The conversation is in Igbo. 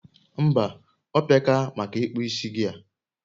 Mba, ope ka maka ikpu isi gị a